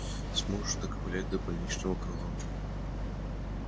сможешь доковылять до больничного крыла